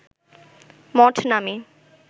মঠ নামে